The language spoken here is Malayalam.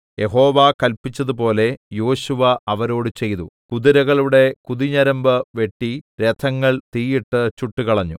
യഹോവ കല്പിച്ചതുപോലെ യോശുവ അവരോട് ചെയ്തു കുതിരകളുടെ കുതിഞരമ്പു വെട്ടി രഥങ്ങൾ തീയിട്ട് ചുട്ടുകളഞ്ഞു